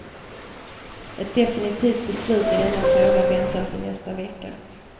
Ett definitivt beslut i denna fråga väntas i nästa vecka.